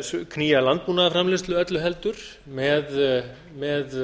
að knýja landbúnaðarframleiðslu öllu heldur með